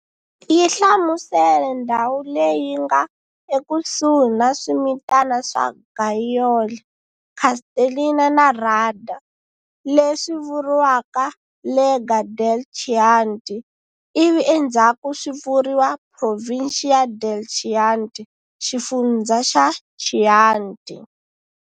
Yi hlamusele ndhawu leyi nga ekusuhi na swimitana swa Gaiole, Castellina na Radda, leswi vuriwaka Lega del Chianti ivi endzhaku swi vuriwa Provincia del Chianti, xifundzha xa Chianti.